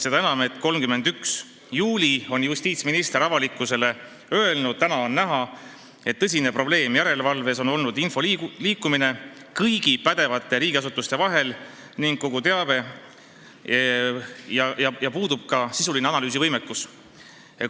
Seda enam, et 31. juulil on justiitsminister avalikkusele öelnud: "Täna on näha, et tõsine probleem järelevalves on olnud info liikumine kõigi pädevate riigiasutuste vahel ning kogu teabe sisulise analüüsivõimekuse puudumine.